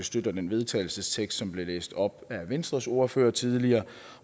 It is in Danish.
støtter den vedtagelsestekst som blev læst op af venstres ordfører tidligere